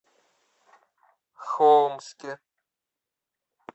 холмске